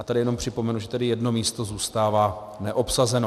A tady jenom připomenu, že tedy jedno místo zůstává neobsazeno.